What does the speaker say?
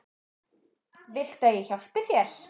Viltu að ég hjálpi þér?